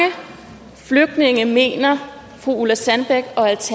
flygtninge mener fru ulla sandbæk